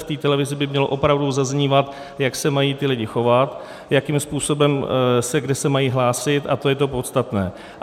V té televizi by mělo opravdu zaznívat, jak se mají ti lidé chovat, jakým způsobem a kde se mají hlásit, a to je to podstatné.